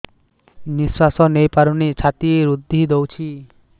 ନିଶ୍ୱାସ ନେଇପାରୁନି ଛାତି ରୁନ୍ଧି ଦଉଛି